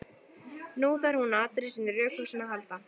Nú þarf hún á allri sinni rökhugsun að halda.